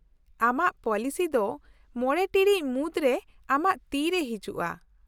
-ᱟᱢᱟᱜ ᱯᱚᱞᱤᱥᱤ ᱫᱚ ᱢᱚᱬᱮ ᱴᱤᱲᱤᱡ ᱢᱩᱫᱨᱮ ᱟᱢᱟᱜ ᱛᱤᱨᱮ ᱦᱤᱡᱩᱜᱼᱟ ᱾